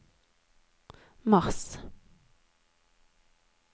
mars